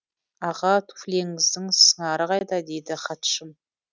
аға туфлиіңіздің сыңары қайда дейді хатшым